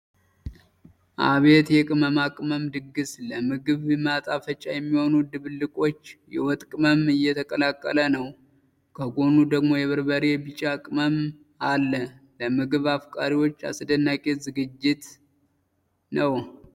አቤት የቅመማ ቅመም ድግስ! ለምግብ ማጣፈጫ የሚሆኑ ድብልቆች! የወጥ ቅመም እየተቀላቀለ ነው! ከጎኑ ደግሞ የበርበሬ ቢጫ ቅመም አለ። ለምግብ አፍቃሪዎች አስደናቂ ዝግጅት!